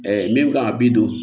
min kan ka bi don